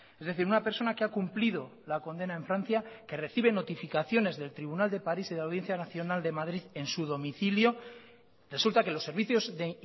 es decir una persona que ha cumplido la condena en francia que recibe notificaciones del tribunal de paris y de la audiencia nacional de madrid en su domicilio resulta que los servicios de